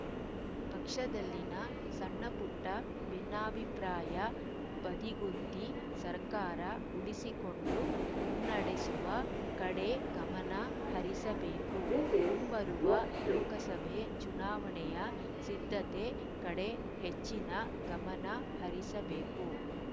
ಪಕ್ಷದಲ್ಲಿನ ಸಣ್ಣಪುಟ್ಟಭಿನ್ನಾಭಿಪ್ರಾಯ ಬದಿಗೊತ್ತಿ ಸರ್ಕಾರ ಉಳಿಸಿಕೊಂಡು ಮುನ್ನಡೆಸುವ ಕಡೆ ಗಮನ ಹರಿಸಬೇಕು ಮುಂಬರುವ ಲೋಕಸಭೆ ಚುನಾವಣೆಯ ಸಿದ್ಧತೆ ಕಡೆ ಹೆಚ್ಚಿನ ಗಮನಹರಿಸಬೇಕು